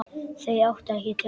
Þau áttu ekki til orð.